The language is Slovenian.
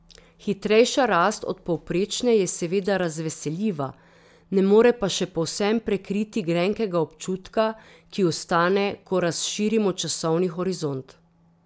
Hitrejša rast od povprečne je seveda razveseljiva, ne more pa še povsem prekriti grenkega občutka, ki ostane, ko razširimo časovni horizont.